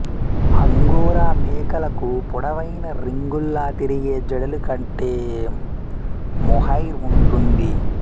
angora మేకలకు పొడవైన రింగుల్లా తిరిగే జడలు కట్టే మోహైర్ ఉంటుంది